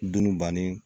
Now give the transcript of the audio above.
Dunu banni